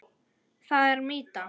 Það er mýta.